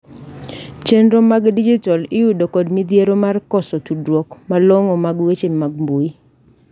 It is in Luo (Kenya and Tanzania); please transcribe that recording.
chenro mag dijital iyudo kod modhiero mar koso tudruok malongo mag weche mag mbui